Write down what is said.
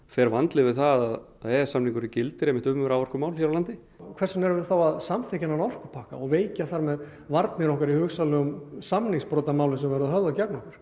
fer vandlega yfir það að e e s samningurinn gildir um raforkumál hér á landi hvers vegna erum við þá að samþykkja þennan orkupakka og veikja þar með varnir okkar í hugsanlegum samningsbrotamálum sem verða höfðuð gegn okkur